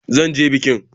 Zan je bikin.